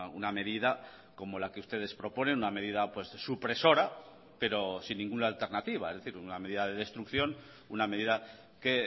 una medida como la que ustedes proponen una medida supresora pero sin ninguna alternativa es decir una medida de destrucción una medida que